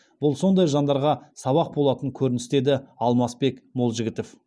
бұл сондай жандарға сабақ болатын көрініс деді алмасбек молжігітов